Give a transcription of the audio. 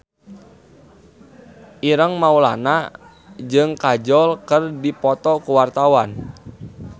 Ireng Maulana jeung Kajol keur dipoto ku wartawan